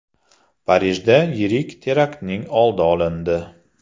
Parijda yirik teraktning oldi olindi.